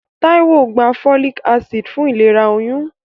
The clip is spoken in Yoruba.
Táíwò gba folic acid fún ìlera oyún.